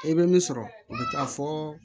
E bɛ min sɔrɔ o bɛ taa fɔ